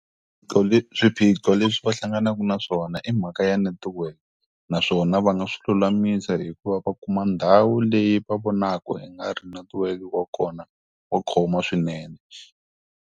Swiphiqo leswi va hlanganaka naswona i mhaka ya netiweke, naswona va nga swi lulamisa hi ku va va kuma ndhawu leyi va vonaka i nga ri netiweke wa kona wa khoma swinene.